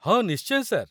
ହଁ, ନିଶ୍ଚୟ, ସାର୍